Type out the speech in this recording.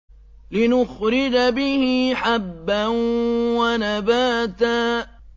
لِّنُخْرِجَ بِهِ حَبًّا وَنَبَاتًا